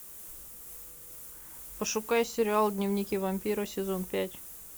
пошукай сериал дневники вампира сезон пять